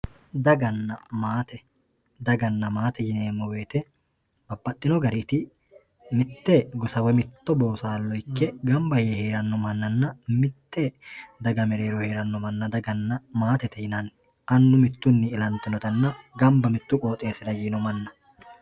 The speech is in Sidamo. daganna maate daganna maate yineemmo woyte mitte gosa woy mitto boosallo ikke gamba yee noo mannanna daga mereero heeranno manna daganna maatete yinanni annu mittunni ilantinotanna ganba yiino mannanna